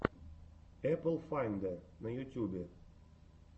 эпл файндэ на ютюбе